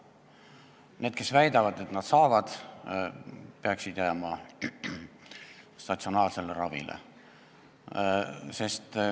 Need, kes väidavad, et nad saavad aru, peaksid jääma statsionaarsele ravile.